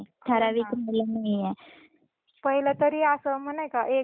पहिले तरी अस नाही का एक जून म्हणजे पाऊस पडणार म्हणजे पडणार